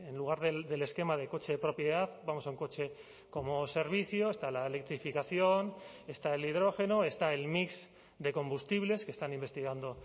lugar del esquema de coche de propiedad vamos a un coche como servicio está la electrificación está el hidrógeno está el mix de combustibles que están investigando